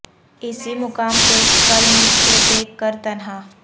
اسی مقام پہ کل مجھ کو دیکھ کر تنہا